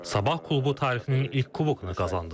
Sabah klubu tarixinin ilk kubokunu qazandı.